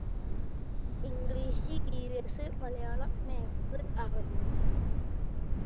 english evs Malayalam maths Arabi